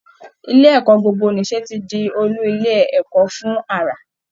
Ilé ẹ̀kọ́ gbogbo-nìṣe ti di olú ilé ẹ̀kọ́ fún àrà